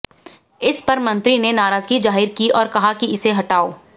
इस पर मंत्री ने नाराजगी जाहिर की औऱ कहा कि इसे हटाओ